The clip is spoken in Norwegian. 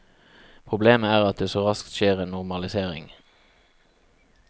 Problemet er at det så raskt skjer en normalisering.